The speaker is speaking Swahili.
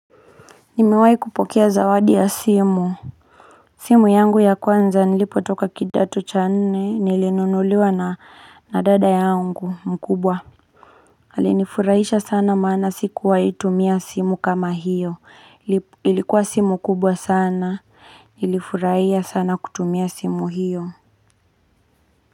Nimewai kupokea zawadi ya simu simu yangu ya kwanza nilipotoka kidato cha nne nilinunuliwa na na dada yangu mkubwa Alinifurahisha sana maana sikuwahitumia simu kama hiyo ilikuwa simu kubwa sana nilifurahia sana kutumia simu hiyo.